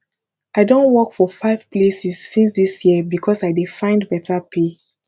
i don work for five places since dis year because i dey find beta pay